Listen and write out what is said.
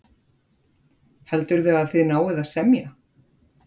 Heldurðu að þið náið að semja?